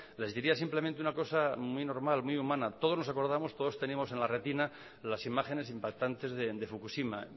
les diría simplemente una cosa muy normal muy humana todos nos acordamos todos tenemos en la resina las imágenes impactantes de fukushima